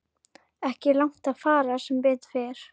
Ekki langt að fara sem betur fer.